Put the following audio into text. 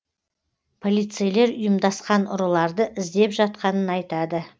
полицейлер ұйымдасқан ұрыларды іздеп жатқанын айтады